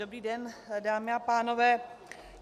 Dobrý den, dámy a pánové.